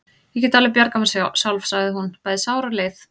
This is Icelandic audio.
Ég get alveg bjargað mér sjálf, sagði hún, bæði sár og leið.